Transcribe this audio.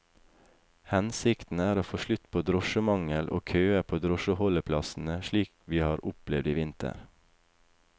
Hensikten er å få slutt på drosjemangel og køer på drosjeholdeplassene slik vi har opplevd i vinter.